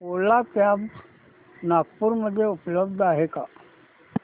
ओला cabs Nagpur मध्ये उपलब्ध आहे का